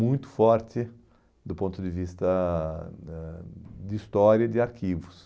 muito forte do ponto de vista né de história e de arquivos.